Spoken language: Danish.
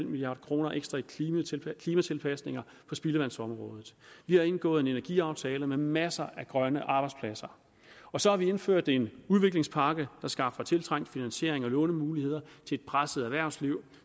milliard kroner ekstra i klimatilpasninger på spildevandsområdet vi har indgået en energiaftale med masser af grønne arbejdspladser og så har vi indført en udviklingspakke der skaffer tiltrængt finansiering og lånemuligheder til et presset erhvervsliv